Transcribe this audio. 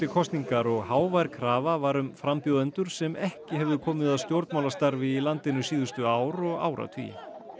kosningar og hávær krafa var um frambjóðendur sem ekki hefðu komið að stjórnmálastarfi í landinu síðustu ár og áratugi